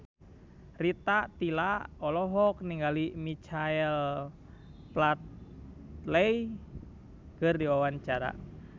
Rita Tila olohok ningali Michael Flatley keur diwawancara